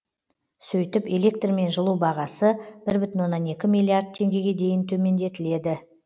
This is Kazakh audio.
сөйтіп электр мен жылу бағасы бір бүтін оннан екі миллиард теңгеге дейін төмендетіледі